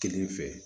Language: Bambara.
Kelen fɛ